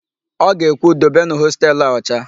O ga-ekwu, "dobenụ hostelu a ọcha"!